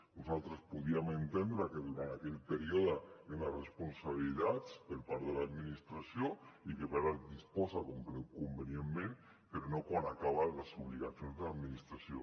nosaltres podíem entendre que durant aquell període hi ha unes responsabilitats per part de l’administració i que per tant en disposa convenientment però no quan s’acaben les obligacions de l’administració